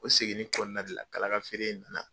O seginni kɔnɔna de la kalaga feere na na